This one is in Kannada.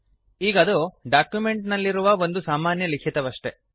ಈಗದು ಡಾಕಿಮೆಂಟ್ ನಲ್ಲಿರುವ ಒಂದು ಸಾಮಾನ್ಯ ಲಿಖಿತವಷ್ಟೇ